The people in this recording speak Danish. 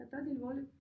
Jeg tager det alvorligt